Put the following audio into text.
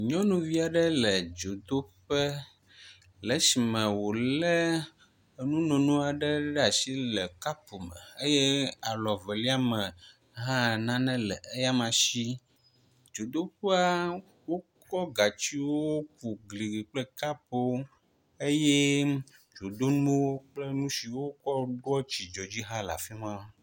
Nyɔnuvi aɖe le dzodoƒe le esime wo le enu nono aɖe ɖe asi le kapu me eye alɔ evelia me hã nane le eyama si. Dzodeƒea wokɔ gatsiwo ku gli kple kapuwo eye dzodonuwo kple nu si wokɔ ɖoa tsi dzui hã le afi ma.